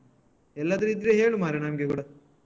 ಎಲ್ಲಾದ್ರು ಇದ್ರೆ ಹೇಳು ಮಾರೆ ನಮ್ಗೆ ಕೂಡ.